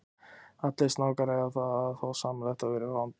Allir snákar eiga það þó sameiginlegt að vera rándýr.